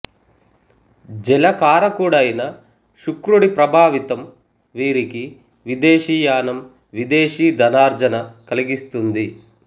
జల కారకుడైన శుక్రుడి ప్రభావితం వీరికి విదేశీ యానం విదేశీ ధనార్జన కలిగిస్తుంది